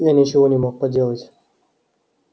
я ничего не мог поделать